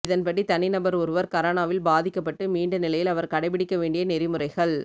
இதன்படி தனிநபர் ஒருவர் கரோனாவில் பாதிக்கப்பட்டு மீண்டநிலையில் அவர் கடைபிடிக்க வேண்டிய நெறிமுறைகள்